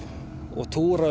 og túra